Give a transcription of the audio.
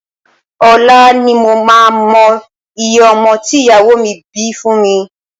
Ọ̀la ni mo máa mọ iye ọmọ tí ìyàwó mi bí fún mi